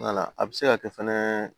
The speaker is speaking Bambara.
A bɛ se ka kɛ fɛnɛ